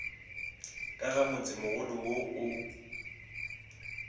ka ga motsemogolo wo o